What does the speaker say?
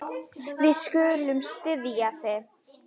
Við skulum styðja þig.